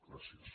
gràcies